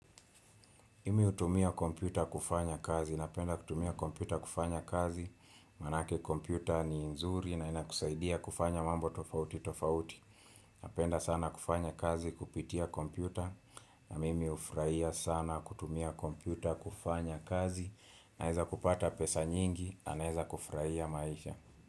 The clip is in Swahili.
Mimi hutumia kompyuta kufanya kazi, napenda kutumia kompyuta kufanya kazi, manake kompyuta ni nzuri na inakusaidia kufanya mambo tofauti tofauti, napenda sana kufanya kazi kupitia kompyuta, na mimi ufurahia sana kutumia kompyuta kufanya kazi, naweza kupata pesa nyingi, na naweza kufurahia maisha.